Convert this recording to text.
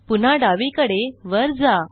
पुन्हा डावीकडे वर जा